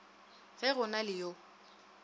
ge go na le yo